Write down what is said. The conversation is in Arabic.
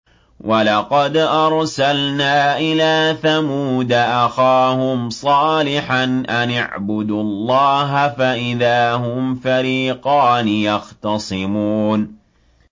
وَلَقَدْ أَرْسَلْنَا إِلَىٰ ثَمُودَ أَخَاهُمْ صَالِحًا أَنِ اعْبُدُوا اللَّهَ فَإِذَا هُمْ فَرِيقَانِ يَخْتَصِمُونَ